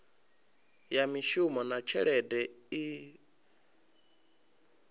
ya mishumo na tshelede i